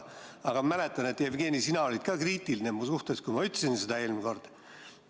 Aga ma mäletan, et, Jevgeni, sina olid ka kriitiline mu suhtes, kui ma seda eelmine kord ütlesin.